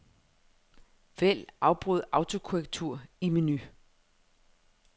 Vælg afbryd autokorrektur i menu.